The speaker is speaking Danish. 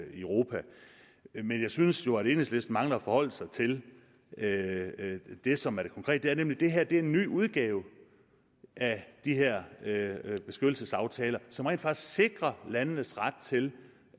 og i europa men jeg synes jo at enhedslisten mangler at forholde sig til det som er det konkrete nemlig at det her er en ny udgave af de her beskyttelsesaftaler som rent faktisk sikrer landenes ret til